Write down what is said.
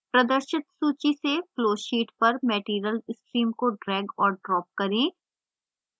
प्रदर्शित सूची से flowsheet पर material stream को drag और drop करें